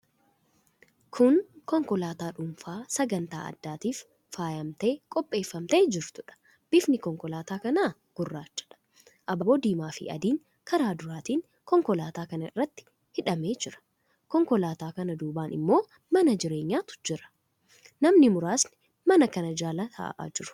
Kun konkolaataa dhuunfaa sagantaa addaatiif faayamtee qopheeffamtee jirtuudha. Bifni konkolaataa kanaa gurraachadha. Abaaboon diimaafi adiin karaa duraatiin konkolaataa kana irratti hidhamee jira. Konkolaataa kana duubaan immoo mana jireenyaatu jira. Namni muraasni mana kana jala taa'aa jiru.